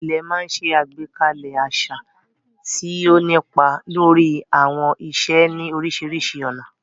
Ilẹ̀ máa ń ṣe àgbékalẹ̀ àṣà, tí ó ń nípa lórí àwọn ìṣe ní oríṣiríṣi ọ̀nà.